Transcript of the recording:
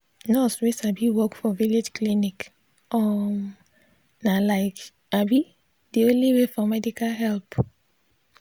nurse wey sabi work for village clinic um na like um de only way for medical help.